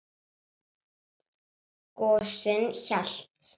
Gosinn hélt.